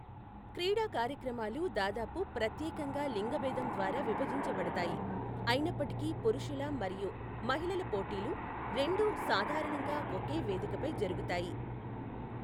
క్రీడా కార్యక్రమాలు దాదాపు ప్రత్యేకంగా లింగభేదం ద్వారా విభజించబడతాయి, అయినప్పటికీ పురుషుల మరియు మహిళల పోటీలు రెండూ సాధారణంగా ఒకే వేదికపై జరుగుతాయి.